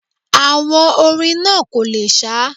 Àwọn orin náà kò le sá